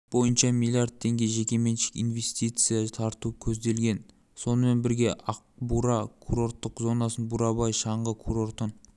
бойынша миллиард теңге жекеменшік инвестиция тарту көзделген сонымен бірге ақбура курорттық зонасын бурабай шаңғы курортын